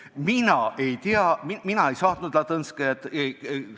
Mina ei tea, mina ei ole Ladõnskajat saatnud.